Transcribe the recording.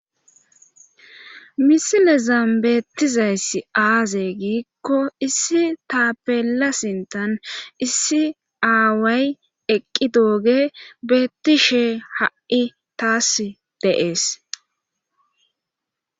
Misilezan betizay azze gikko issi tapella sinthan issi away eqidogey betishe hayi tasi de's.